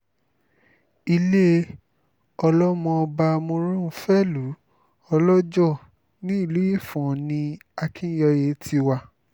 ilé ọlọ́mọọba moronfẹ́lùú ọlọ́ọjọ́ nílùú ifò̩n ni akínyẹye ti wá